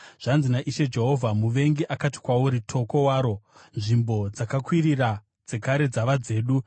Zvanzi naIshe Jehovha: Muvengi akati kwauri, “Toko waro! Nzvimbo dzakakwirira dzekare dzava dzedu.” ’